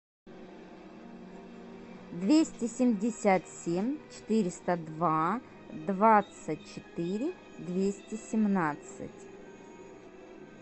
двести семьдесят семь четыреста два двадцать четыре двести семнадцать